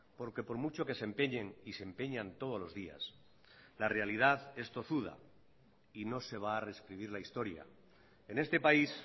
porque por mucho que se empeñen y se empeñan todos los días la realidad es tozuda y no se va a rescribir la historia en este país